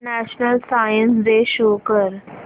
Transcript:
national science day show कर